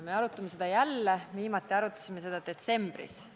Me arutame seda jälle, viimati arutasime seda detsembris.